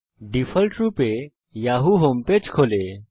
ডিফল্টরূপে Yahoo home page খোলে